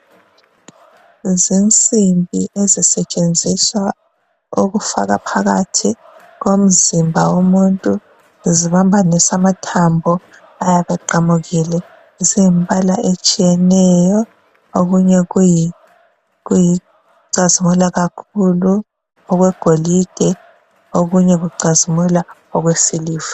Zinsimbi ezisetshenziswa ukufaka phakathi komzimba womuntu zibambanise amathambo ayabeqamukile, ziyimbala etshiyeneyo okunye kuyi-cazimula kakhulu okwegolide okunye kucazimula okwesiliva